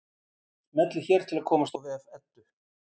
Smellið hér til að komast á vef Eddu.